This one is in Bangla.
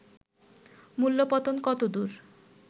মূল্য-পতন কতদূর